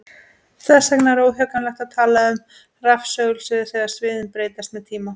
Þess vegna er óhjákvæmilegt að tala um rafsegulsvið þegar sviðin breytast með tíma.